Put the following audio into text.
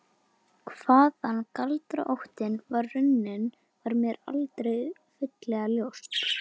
Hvaðan galdraóttinn var runninn var mér aldrei fyllilega ljóst.